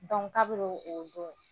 Dɔnku kabini o o don